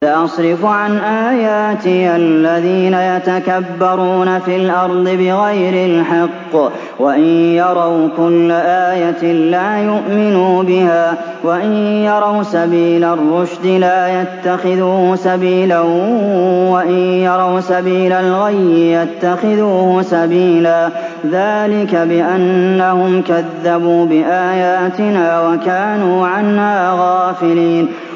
سَأَصْرِفُ عَنْ آيَاتِيَ الَّذِينَ يَتَكَبَّرُونَ فِي الْأَرْضِ بِغَيْرِ الْحَقِّ وَإِن يَرَوْا كُلَّ آيَةٍ لَّا يُؤْمِنُوا بِهَا وَإِن يَرَوْا سَبِيلَ الرُّشْدِ لَا يَتَّخِذُوهُ سَبِيلًا وَإِن يَرَوْا سَبِيلَ الْغَيِّ يَتَّخِذُوهُ سَبِيلًا ۚ ذَٰلِكَ بِأَنَّهُمْ كَذَّبُوا بِآيَاتِنَا وَكَانُوا عَنْهَا غَافِلِينَ